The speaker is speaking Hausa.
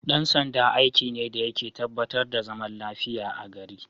Dan sanda aiki ne dayake tabba tar da zaman lafiyar a gari